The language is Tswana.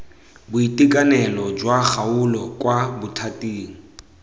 boitekanelo jwa kgaolo kwa bothating